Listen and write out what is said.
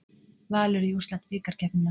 Valur í úrslit bikarkeppninnar